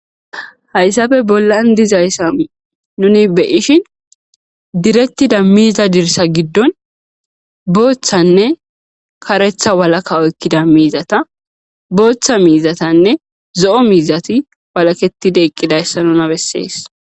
hayssafe bollan dizayssa nuni beyishin direttida miiza dirsa giddon booththanne karetha walaka oykkida miizata booththa miizatanne zo7o miizati walaketide eqqidayssa nuna bessees